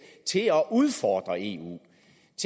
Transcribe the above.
til at udfordre eu